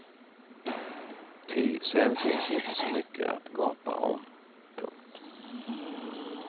Ty sen finns inte så mycket att gapa om. punkt